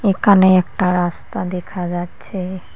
একানে একটা রাস্তা দেখা যাচ্ছে।